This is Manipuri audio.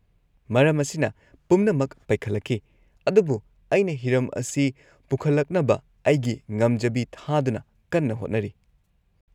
- ꯃꯔꯝ ꯑꯁꯤꯅ ꯄꯨꯝꯅꯃꯛ ꯄꯩꯈꯠꯂꯛꯈꯤ, ꯑꯗꯨꯕꯨ ꯑꯩꯅ ꯍꯤꯔꯝ ꯑꯁꯤ ꯄꯨꯈꯠꯂꯛꯅꯕ ꯑꯩꯒꯤ ꯉꯝꯖꯕꯤ ꯊꯥꯗꯨꯅ ꯀꯟꯅ ꯍꯣꯠꯅꯔꯤ ꯫